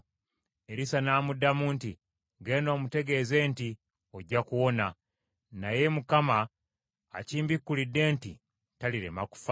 Erisa n’amuddamu nti, “Genda omutegeeze nti, ‘Ojja kuwona;’ naye Mukama akimbikulidde nti talirema kufa.”